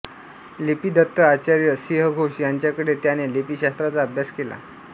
लिपीदत्त आचार्य सिंह घोष यांच्याकडे त्याने लिपीशास्त्राचा अभ्यास केला